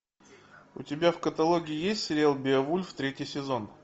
у тебя в каталоге есть сериал беовульф третий сезон